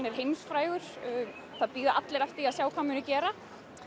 er heimsfrægur það bíða allir eftir að sjá hvað hann muni gera